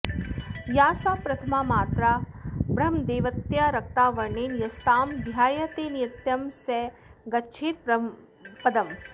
या सा प्रथमा मात्रा ब्रह्मदेवत्या रक्ता वर्णेन यस्तां ध्यायते नित्यं स गच्छेत्ब्रह्मपदम्